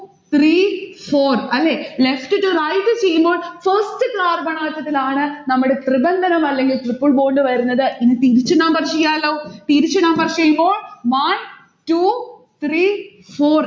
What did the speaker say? three four അല്ലെ? left to right ചെയ്യുമ്പോൾ first carbon atom ത്തിലാണ് നമ്മടെ ത്രിബന്ധനം അല്ലെങ്കിൽ triple bond വരുന്നത്. ഇനി തിരിച്ചു number ചെയ്യാലോ. തിരിച്ചു number ചെയ്യുമ്പോൾ one two three four